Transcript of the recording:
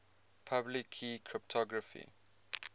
public key cryptography